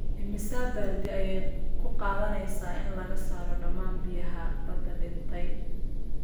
Immisa baaldi ayay ku qaadanaysaa in laga saaro dhammaan biyaha badda dhintay?